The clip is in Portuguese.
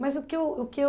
Mas o que eu o que eu